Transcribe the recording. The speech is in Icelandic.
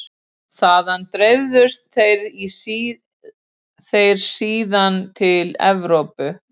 Þaðan dreifðust þeir síðan til Evrópu.